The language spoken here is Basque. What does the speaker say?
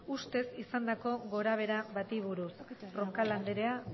ustez izandako gorabehera bati buruz roncal andrea